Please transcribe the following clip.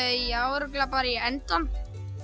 uppáhaldsatriði já örugglega bara í endann